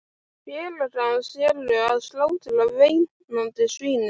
Félagar hans eru að slátra veinandi svínunum.